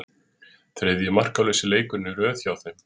Þriðji markalausi leikurinn í röð hjá þeim.